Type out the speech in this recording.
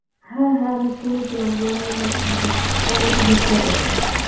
হ্যাঁ হ্যাঁ আমি শুনেছিলাম যে উনি নাকি মানে ও নাকি আগে ভিক্ষা করতো